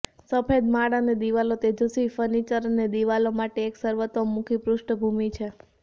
સફેદ માળ અને દિવાલો તેજસ્વી ફર્નિચર અને દિવાલો માટે એક સર્વતોમુખી પૃષ્ઠભૂમિ છે